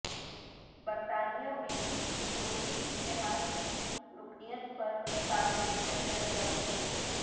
برطانیہ میں یورپی اتحاد کی رکنیت پر تاریخی ریفرنڈم